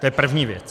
To je první věc.